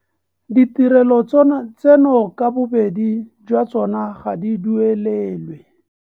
Ditirelo tseno ka bobedi jwa tsona ga di duelelwe.